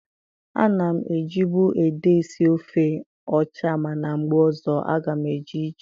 A na m ejibu ede esi ofe ọcha mana mgbe ọzọ a ga m eji ji